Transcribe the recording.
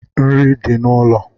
Nri di n’ulo